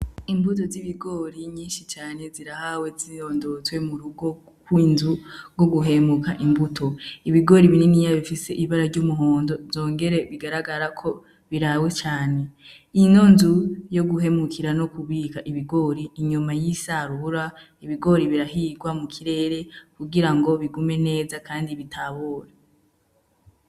Imbuto z'ibigori nyinshi cane zirahawe ziyondotswe mu rugokw'inzu rwo guhemuka imbuto ibigori binini yabo ifise ibara ry'umuhondo zongere bigaragara ko birawe cane ino nzu yo guhemukira no kubika ibigori inyoma y'isarubra ibigori birahirwa mu kirere kugira ngo bigume neza, kandi bitabora.